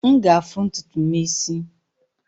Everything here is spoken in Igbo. M ga-afụ ntutu m isi.